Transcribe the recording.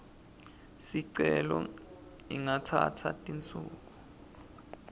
sicelo ingatsatsa tinsuku